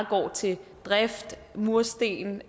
går til drift mursten